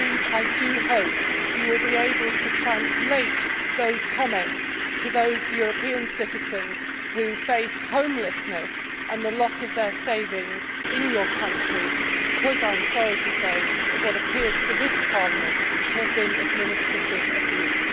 I do hope, Prime Minister, that you will be able to translate those comments to those European citizens who face homelessness and the loss of their savings in your country because, I am sorry to say, of what appears to this Parliament to have been administrative abuse.